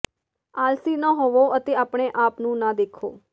ਆਲਸੀ ਨਾ ਹੋਵੋ ਅਤੇ ਆਪਣੇ ਆਪ ਨੂੰ ਨਾ ਦੇਖੋ